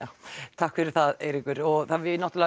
takk fyrir það Eiríkur við